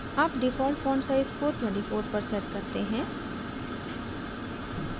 अब default font size को 24 पर set करते हैं